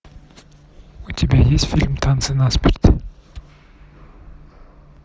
у тебя есть фильм танцы насмерть